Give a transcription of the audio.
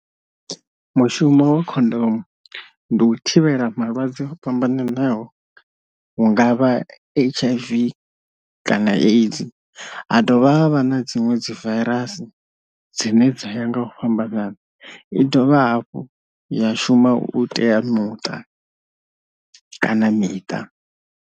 Mushumo wa khondomu ndi u thivhela malwadze o fhambananaho, hungavha H_I_V kana AIDS ha dovha vha na dziṅwe dzi vairasi dzine dza ya nga u fhambana, i dovha hafhu ya shuma u tea muṱa kana miṱa.